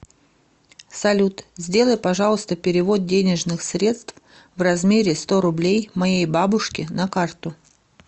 салют сделай пожалуйста перевод денежных средств в размере сто рублей моей бабушке на карту